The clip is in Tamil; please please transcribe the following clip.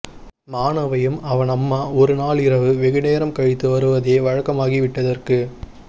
மானவையும் அவன் அம்மா ஒரு நாள் இரவு வெகு நேரம் கழித்து வருவதே வழக்கமாகிவிட்டதற்குத்